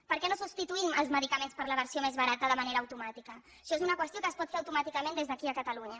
per què no substituïm els medicaments per la versió més barata de manera automàtica això és una qüestió que es pot fer automàticament des d’aquí a catalunya